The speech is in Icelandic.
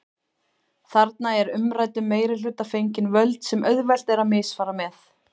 Þarna er umræddum meirihluta fengin völd sem auðvelt er að misfara með.